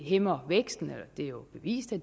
hæmmer væksten og det er jo bevist at